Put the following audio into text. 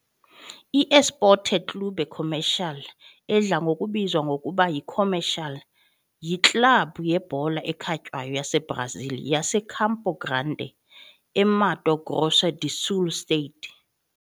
I-Esporte Clube Comercial, edla ngokubizwa ngokuba yiComercial, yiklabhu yebhola ekhatywayo yaseBrazil yaseCampo Grande, eMato Grosso do Sul state.